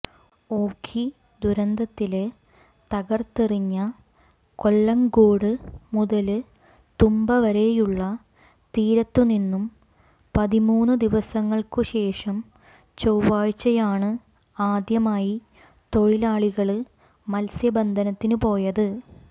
ഓഖി ദുരന്തത്തില് തകര്ത്തെറിഞ്ഞ കൊല്ലങ്കോട് മുതല് തുമ്പ വരെയുള്ള തീരത്തുനിന്നും പതിമൂന്നു ദിവസങ്ങള്ക്കുശേഷം ചൊവ്വാഴ്ചയാണ് ആദ്യമായി തൊഴിലാളികള് മത്സ്യബന്ധനത്തിനു പോയത്